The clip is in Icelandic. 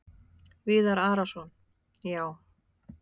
Viðar Arason: Já.